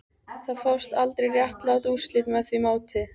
Það fást aldrei réttlát úrslit með því móti